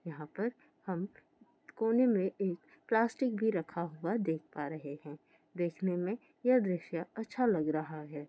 यहाँ पर हम कोने में एक प्लास्टिक भी रखा हुआ देख पा रहे है देखने में ये द्रशय अच्छा लग रहा है।